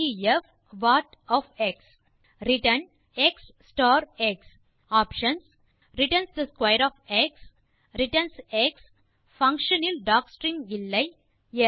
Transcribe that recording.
def what return x star x returns the square of x returns x function இல் docstring இல்லை